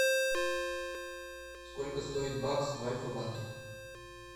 сколько стоит бакс в альфа банке